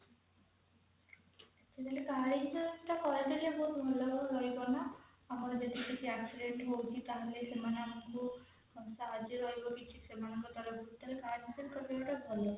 ତ car insurance କରିଦେଲେ ବହୁତ ଭଲ ରହିବ ନା ଆମର ଯଦି କିଛି accident ହଉଛି ତାହାଲେ ସେମାନେ ଆମକୁ ସାହାଯ୍ୟ ରହିବ କିଛି ସେମାନଙ୍କ ତରଫରୁ ତ car insurance କରି ଦବାଟା ଭଲ